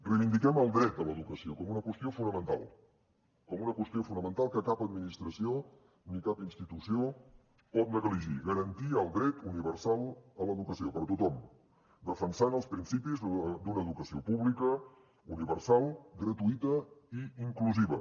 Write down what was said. reivindiquem el dret a l’educació com una qüestió fonamental com una qüestió fonamental que cap administració ni cap institució pot negligir garantir el dret universal a l’educació per a tothom defensant els principis d’una educació pública universal gratuïta i inclusiva